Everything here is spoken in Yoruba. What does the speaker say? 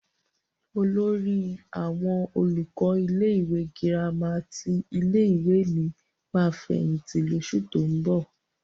Olórí àwọn olùkọ́ ilé-ìwé gírámà ti ilé-ìwé mi máa fẹ̀yìntì lóṣù tó ń bọ̀.